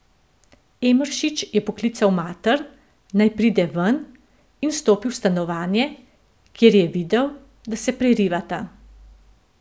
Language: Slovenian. Emeršič je poklical mater, naj pride ven, in vstopil v stanovanje, kjer je videl, da se prerivata.